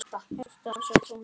Hjartað svo þungt.